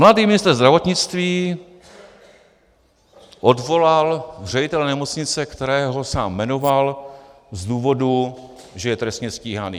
Mladý ministr zdravotnictví odvolal ředitele nemocnice, kterého sám jmenoval, z důvodu, že je trestně stíhaný.